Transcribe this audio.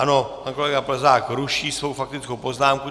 Ano, pan kolega Plzák ruší svou faktickou poznámku.